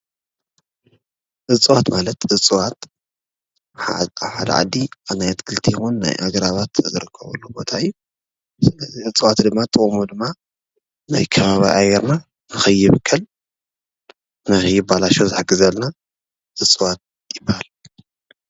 እፅዋት ማለት እፅዋት ኣብ ሓደ ዓዲ ናይ ኣትክልቲ ወይ ኣግራባት ዝርከብሉ ቦታ እዩ፡፡ እፅዋት ጥቕሙ ድማ ናይ ከባቢ ኣየርና ንከይብከል ንከይበላሾ ዝሕግዘና እፅዋት ይበሃል፡፡